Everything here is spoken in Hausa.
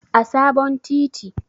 a sabon titi